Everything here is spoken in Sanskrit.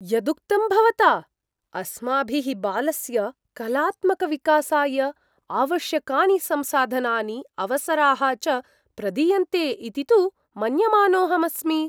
यदुक्तं भवता? अस्माभिः बालस्य कलात्मकविकासाय आवश्यकानि संसाधनानि अवसराः च प्रदीयन्ते इति तु मन्यमानोऽहम् अस्मि।